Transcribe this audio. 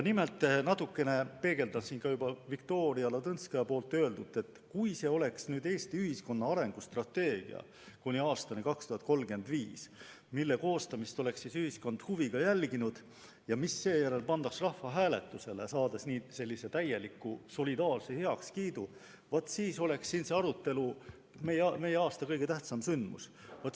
Nimelt, natukene peegeldas see ka Viktoria Ladõnskaja öeldut, et kui see oleks Eesti ühiskonna arengustrateegia aastani 2035, mille koostamist oleks ühiskond huviga jälginud ja mis seejärel oleks pandud rahvahääletusele, saades nii sellise täieliku ja solidaarse heakskiidu, vaat siis oleks selle arutelu meil siin aasta kõige tähtsam sündmus.